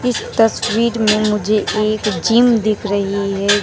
इस तस्वीर में मुझे एक जिम दिख रही है।